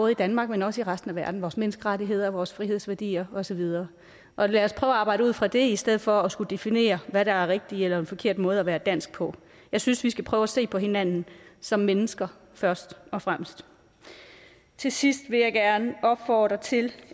i danmark men også i resten af verden vores menneskerettigheder vores frihedsværdier og så videre og lad os prøve at arbejde ud fra det i stedet for at skulle definere hvad der er en rigtig eller forkert måde at være dansk på jeg synes vi skal prøve at se på hinanden som mennesker først og fremmest til sidst vil jeg gerne opfordre til